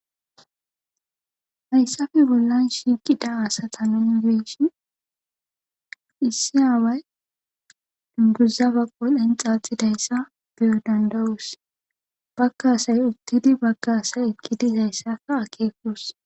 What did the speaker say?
Haysappe bollan shiqida asata nun betishn issi away dunguza ba qodhen xaaxidayda beyo danda'os. Baga assay utid Baga asay eqidaysa akeko danda'os.